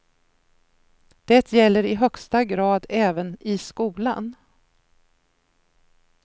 Det gäller i högsta grad även i skolan.